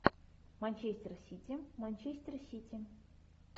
манчестер сити манчестер сити